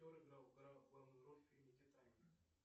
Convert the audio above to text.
кто играл главную роль в фильме титаник